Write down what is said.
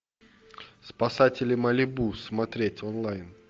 спасатели малибу смотреть онлайн